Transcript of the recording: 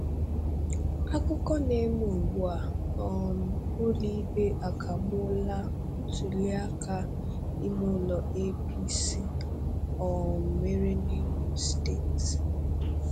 Akụkọ na-eme ugbu a: um Ụlọikpe akagbuola ntụlịaka imeụlọ APC um mere n'Imo steeti.